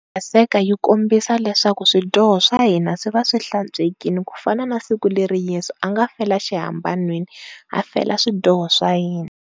Paseka yi kombisa leswaku swidyoho swa hina swi va swi hlantswekeile ku fana na siku leriya yesu a nga fela xihambanweni a fela swidyoho swa hina.